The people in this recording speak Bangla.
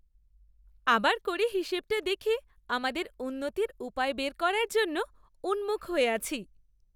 আবার করে হিসাবটা দেখে আমাদের উন্নতির উপায় বের করার জন্য উন্মুখ হয়ে আছি।